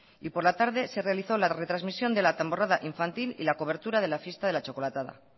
y por la tarde se realizó la retrasmisión de la tamborrada infantil y la cobertura de la fiesta de la chocolatada